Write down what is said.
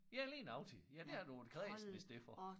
Ja lige nøjagtig ja der var du jo kræsen i stedet for